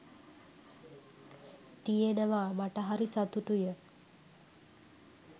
තියෙනවා මට හරි සතුටුය.